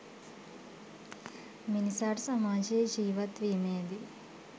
මිනිසාට සමාජයේ ජීවත් වීමේ දී